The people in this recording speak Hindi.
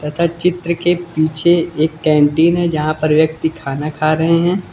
तथा चित्र के पीछे एक कैंटीन है जहां पर व्यक्ति खाना खा रहे हैं।